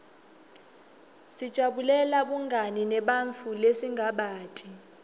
sijabulela bungani nebantfu lesingabati